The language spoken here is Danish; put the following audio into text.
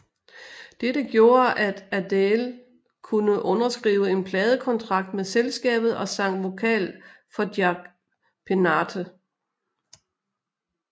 Dette gjorde at Adele kunne underskrive en pladekontrakt med selskabet og sang vokal for Jack Peñate